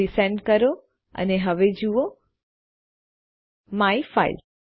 resend કરો અને હવે જુઓ માયફાઇલ